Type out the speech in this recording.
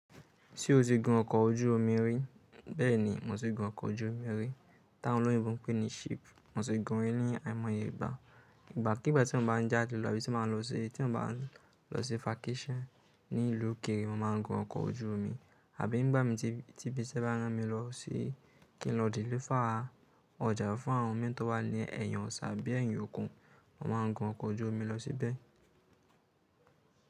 Ṣé o ti gun ọkọ̀ ojú omi rí? Bẹ́ẹ̀ni, mo ti gun ọkọ̀ ojú omi rí. Tá àwọn òyìnbó pé ní ship, mo ti gun ri ní àìmọye ìgbà. Ìgbà kí ìgbà tí mo bá ń jáde lọ àbí tí mo bá ń lọ sí, tí mo bá ń lọ sí vacation ní ìlú òkèrè, mo máa ń gun ọkọ̀ ojú omi. Àbí nígbà mi tíbi, tíbí ṣé bá rán mi lọ sí kí n lọ délífà ọjà fún àwọn mẹ́tọ́ wá lé ẹ̀yàn Ọ̀sà bí i ẹ̀yàn Ògùn, mo máa gun ọkọ̀ ojú omi lọ síbẹ̀.